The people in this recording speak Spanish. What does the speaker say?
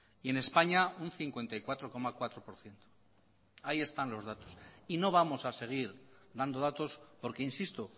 y en españa un cincuenta y cuatro coma cuatro por ciento ahí están los datos y no vamos a seguir dando datos porque insisto